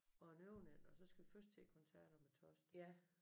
Og en overnatning og så skal vi først til æ koncert om æ torsdag